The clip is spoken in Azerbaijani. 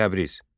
Təbriz.